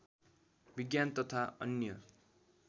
विज्ञान तथा अन्य